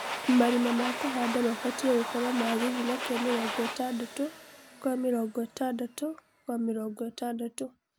malima ma kũhanda mafatia gũkro ma gĩthimo kia mĩrongo ĩtandatũ gwa mĩrongo ĩtandatũ gwa mĩrongo ĩtandatũ.